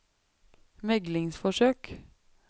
meglingsforsøk